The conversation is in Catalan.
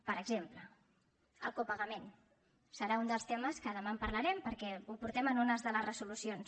per exemple el copagament serà un dels temes que demà en parlarem perquè ho portem en una de les resolucions